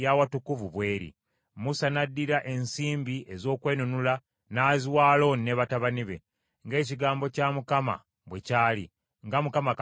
Musa n’addira ensimbi ez’okwenunula n’aziwa Alooni ne batabani be, ng’ekigambo kya Mukama bwe kyali, nga Mukama Katonda bwe yalagira Musa.